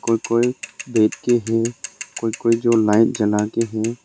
कोई कोई बैठ के है कोई कोई जो लाइट जला के हैं।